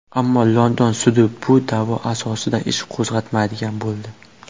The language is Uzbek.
Ammo London sudi bu da’vo asosida ish qo‘zg‘atmaydigan bo‘ldi.